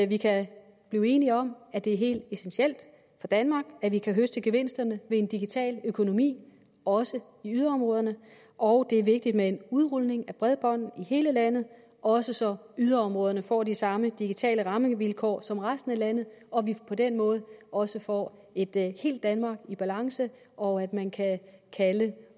vi kan blive enige om at det er helt essentielt for danmark at vi kan høste gevinsterne ved en digital økonomi også i yderområderne og det er vigtigt med en udrulning af bredbånd i hele landet også så yderområderne får de samme digitale rammevilkår som resten af landet og at vi på den måde også får et helt danmark i balance og at man kan kalde